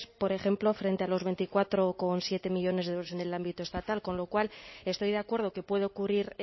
por ejemplo frente a los veinticuatro coma siete millónes de euros en el ámbito estatal con lo cual estoy de acuerdo que puede ocurrir